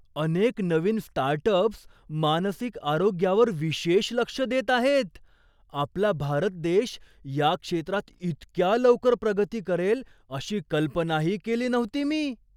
अनेक नवीन स्टार्टअप्स मानसिक आरोग्यावर विशेष लक्ष देत आहेत! आपला भारत देश या क्षेत्रात इतक्या लवकर प्रगती करेल अशी कल्पनाही केली नव्हती मी.